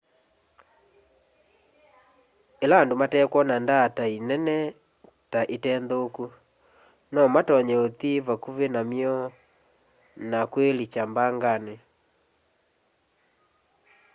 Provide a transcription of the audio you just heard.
ĩla andũ matekwona ndaatai nene ta ite nthũku nomatonye ũthi vakuvĩ namy'o na kwĩlikya mbanganĩ